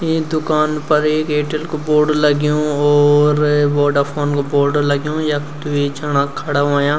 इ दुकान फर ऐक एयरटेल कु बोर्ड लग्युं और वोडाफोन कु बोर्ड लग्युं यक द्वि जणा खडा हूयां।